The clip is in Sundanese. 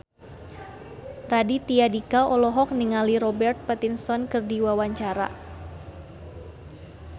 Raditya Dika olohok ningali Robert Pattinson keur diwawancara